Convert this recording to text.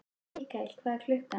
Mikael, hvað er klukkan?